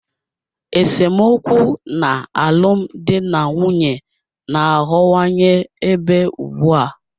Esemokwu n'alụmdi na nwunye na-aghọwanye ebe ugbu a.